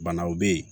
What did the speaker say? Banaw bɛ yen